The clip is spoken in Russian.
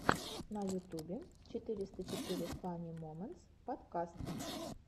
на ютубе четыреста четыре фани моментс подкаст